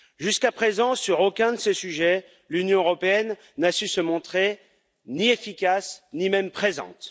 Jusqu'à présent, sur aucun de ces sujets, l'Union européenne n'a su se montrer ni efficace, ni même présente.